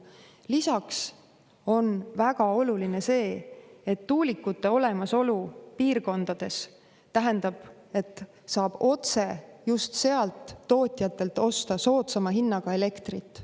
Lisaks on väga oluline, et tuulikute olemasolu piirkondades tähendab seda, et saab otse tootjatelt osta soodsama hinnaga elektrit.